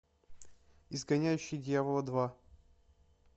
изгоняющий дьявола два